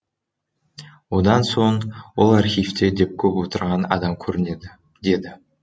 одан соң ол архивте де көп отырған адам көрінеді деді